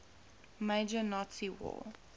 major nazi war